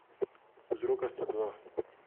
Vzroka sta dva.